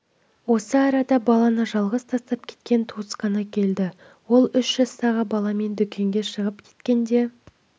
осы арада баланы жалғыз тастап кеткен туысқаны келді ол үш жастағы баламен дүкенге шығып кеткенде